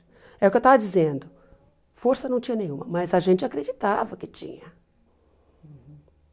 É o que eu estava dizendo, força não tinha nenhuma, mas a gente acreditava que tinha.